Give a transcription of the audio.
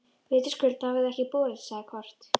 Vitaskuld hafa þau ekki borist, sagði Kort.